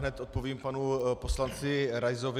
Hned odpovím panu poslanci Raisovi.